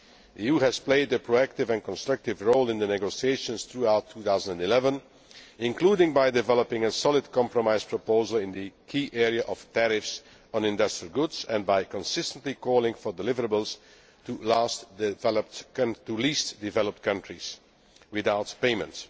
The EU has played a proactive and constructive role in the negotiations throughout 2011, including by developing a solid compromise proposal in the key area of tariffs on industrial goods, and by consistently calling for deliverables to Least Developed Countries without payment.